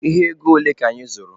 Ihe ego ole ka anyị zụrụ?